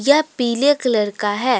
यह पीले कलर का है।